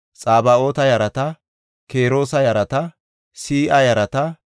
Baasilota yarata, Mahida yarata, Harsha yarata,